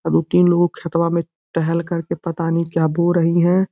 दू-तीन लोग खेतवा में टहल कर के पता नहीं क्या बो रही हैं।